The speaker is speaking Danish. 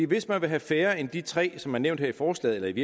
hvis man vil have færre end de tre aldersgrænser som er nævnt her i forslaget